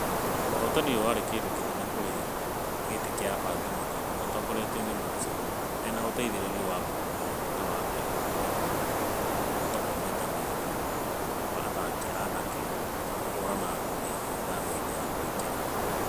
Ũhotani ũyũ warĩ.....kilĩnene kũrĩ gĩtĩ gĩa abangi mũthako matongorĩtio nĩ musa ena ũteithereria wa munuhe na waweru kũbuatĩrĩra kũhotwakwamaita merĩkwaathaki anake a kũhũrana ngundi mĩthako-inĩ ya kũhingũra.